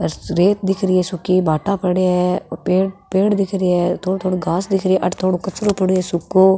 रेत दिख री है सूकी भाटा पड़ा है पेड़ दिख री है थोड़ो थोड़ो घास दिख री है अठ कचरो पड़ो है सुखो।